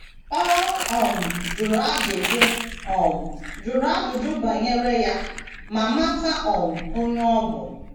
Ọ um jụrụ ajụjụ um jụrụ ajụjụ banyere ya ma mata um onye ọ bụ.